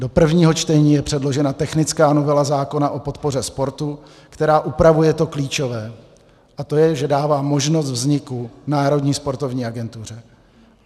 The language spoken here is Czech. Do prvního čtení je předložena technická novela zákona o podpoře sportu, která upravuje to klíčové, a to je, že dává možnost vzniku Národní sportovní agentuře.